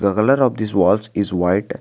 The colour of this walls is white.